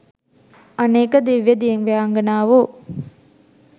අනේක දිව්‍ය දිව්‍යාංගනාවෝ